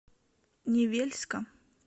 невельска